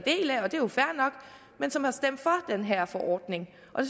en som har stemt for den her forordning og